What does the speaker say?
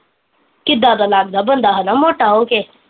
ਕਿੱਦਾਂ ਦਾ ਲੱਗਦਾ ਬੰਦਾ ਹੈਨਾ ਮੋਟਾ ਹੋਕੇ